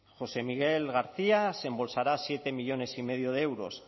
josé miguel garcía se embolsará siete millónes y medio de euros